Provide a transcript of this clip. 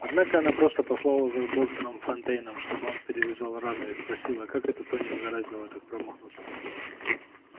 однако она просто послала за доктором фонтейном чтобы он перевязал рану и спросила как это тони угораздило так промахнуться